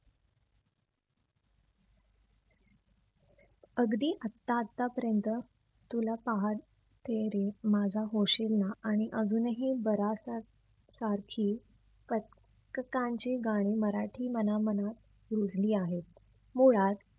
अगदी आता आता पर्यंत तुला पहाटे रे, माझा होशील ना? आणि अजूनही एक बरासा सारखी ची गाणी मराठी मनामनात रुढली आहेत. मुळात